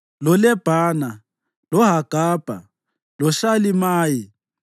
loLebhana, loHagabha, loShalimayi,